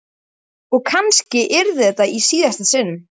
Og kannski yrði þetta í síðasta sinn.